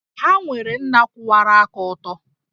Ha nwere nna kwụwara aka ọtọ